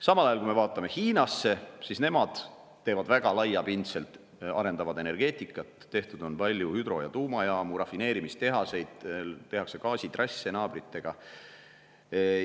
Samal ajal, kui me vaatame Hiinasse, siis näeme, et nemad arendavad väga laiapindselt energeetikat, on palju hüdro- ja tuumajaamu, rafineerimistehaseid, tuleb gaasitrass naabrite juurde.